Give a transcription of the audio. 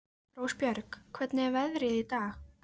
Rósbjörg, hvernig er veðrið í dag?